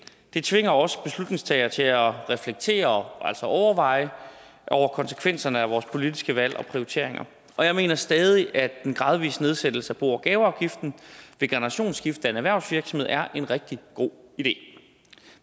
det tvinger os beslutningstagere til at reflektere over altså overveje konsekvenserne af vores politiske valg og prioriteringer jeg mener stadig at en gradvis nedsættelse af bo og gaveafgiften ved generationsskifte i en erhvervsvirksomhed er en rigtig god idé